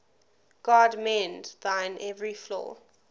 god mend thine every flaw